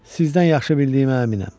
Sizdən yaxşı bildiyimə əminəm.